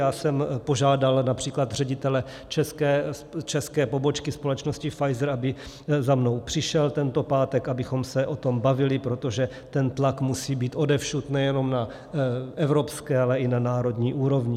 Já jsem požádal například ředitele české pobočky společnosti Pfizer, aby za mnou přišel tento pátek, abychom se o tom bavili, protože ten tlak musí být odevšad, nejenom na evropské, ale i na národní úrovni.